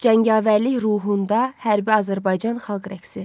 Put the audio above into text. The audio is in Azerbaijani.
Cəngavərlik ruhunda hərbi Azərbaycan xalq rəqsi.